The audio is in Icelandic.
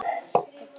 Það tókst honum.